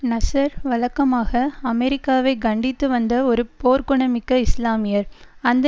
நசர் வழக்கமாக அமெரிக்காவை கண்டித்து வந்த ஒரு போர்குணமிக்க இஸ்லாமியர் அந்த